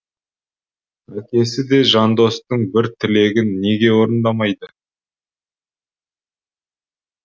әкесі де жандостың бір тілегін неге орындамайды